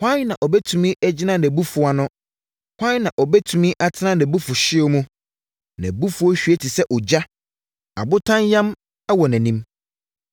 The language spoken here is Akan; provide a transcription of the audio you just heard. Hwan na ɔbɛtumi agyina nʼabufuo ano? Hwan na ɔbɛtumi atena nʼabufuhyeɛ mu? Nʼabufuo hwie te sɛ ogya; abotan yam wɔ nʼanim.